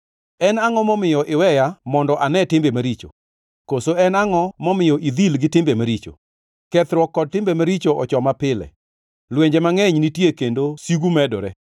En angʼo momiyo iweya mondo ane timbe maricho? Koso en angʼo momiyo idhil gi timbe maricho? Kethruok kod timbe maricho ochoma pile; lwenje mangʼeny nitie kendo sigu medore.